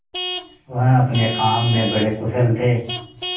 वह अपने काम में बड़े कुशल थे